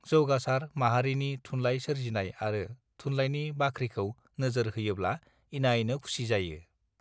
जौगासर माहारिनि थुनलाइ सोरजिनाय आरो थुनलायनि बाखिखौ नोजोर होयोब्ला इनायनो खुसि जायो